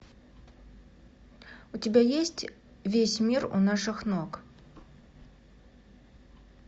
у тебя есть весь мир у наших ног